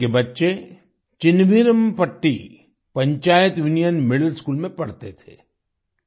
उनके बच्चे Chinnaveerampatti panchayat union middle school में पढ़ते थे